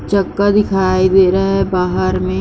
चका दिखाई दे रहा है बाहर में --